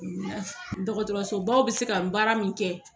Dɔgɔtɔrɔso baw bɛ se ka baara min kɛ,